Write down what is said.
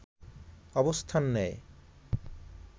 অবস্থান নেয়